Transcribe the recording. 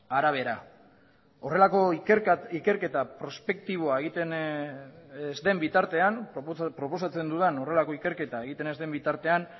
arabera horrelako ikerketa prospektiboa egiten ez den bitartean proposatzen dudan horrelako ikerketa egiten ez den bitartean